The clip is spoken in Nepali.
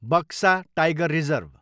Buxa tiger reserve